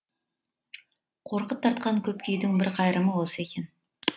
қорқыт тартқан көп күйдің бір қайырымы осы екен